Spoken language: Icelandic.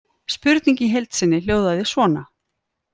Spurningin í heild sinni hljóðaði svona: